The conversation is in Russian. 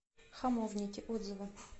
хамовники отзывы